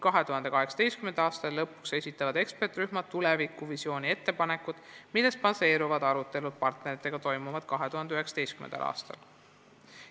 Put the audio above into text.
2018. aasta lõpuks esitavad eksperdirühmad tulevikuvisiooni ettepanekud, mille arutelud partneritega toimuvad 2019. aastal.